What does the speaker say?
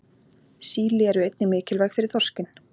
Síli eru einnig mikilvæg fyrir þorskinn.